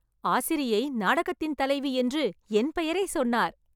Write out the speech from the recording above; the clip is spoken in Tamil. ஆசிரியை நாடகத்தின் தலைவி என்று என் பெயரைச் சொன்னார்!!